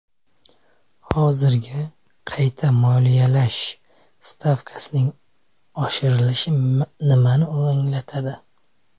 Hozirgi qayta moliyalash stavkasining oshirilishi nimani anglatadi?